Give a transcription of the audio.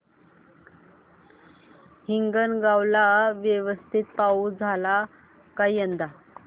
हिंगणगाव ला व्यवस्थित पाऊस झाला का यंदा